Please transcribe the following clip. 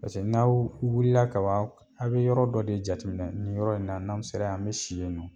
Paseke n'aw wulila ka ban a' bɛ yɔrɔ dɔ de jateminɛ nin yɔrɔ in na n'an sera an bɛ si yen nɔ.